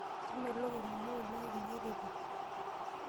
Kemelok emonyua oleng ekinya teipa.